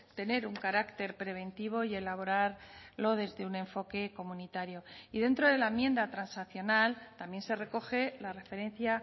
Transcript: tener un carácter preventivo y elaborarlo desde un enfoque comunitario y dentro de la enmienda transaccional también se recoge la referencia